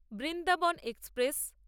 Vrindavan express